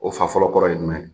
O fa fɔlɔ kɔrɔ ye jumɛn ye?